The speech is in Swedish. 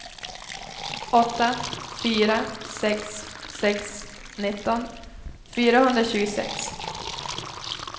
åtta fyra sex sex nitton fyrahundratjugosex